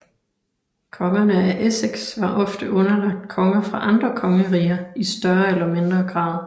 Kongerne af Essex var ofte underlagt konger fra andre kongeriger i større eller mindre grad